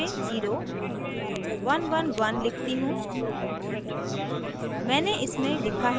अब मैं phone number में 011 लिखती हूँ